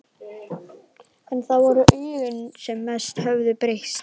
En það voru augun sem mest höfðu breyst.